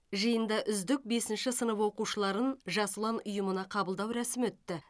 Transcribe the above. жиында үздік бесінші сынып оқушыларын жас ұлан ұйымына қабылдау рәсімі өтті